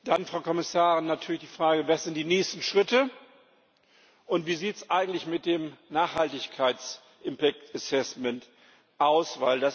Dann, Frau Kommissarin, natürlich die Frage Was sind die nächsten Schritte, und wie sieht es eigentlich mit der Nachhaltigkeitsfolgenabschätzung aus?